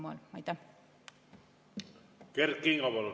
Kert Kingo, palun!